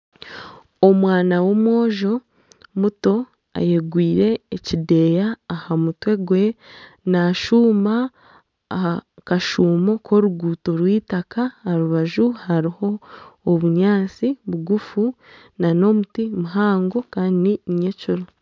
Omwana w'omwojo muto ayegwire ekideeya aha mutwe gwe nashuuma aha kashuumo ky'oruguuto rw'eitaaka aha rubaju hariho obunyaatsi bugufu na n'omuti muhango kandi ni ny'ekiro.